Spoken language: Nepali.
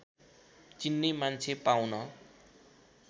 चिन्ने मान्छे पाउन